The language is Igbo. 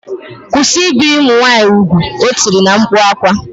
Kwụsị ibi ụmụ nwaanyị ugwu! O tiri na mkpu akwa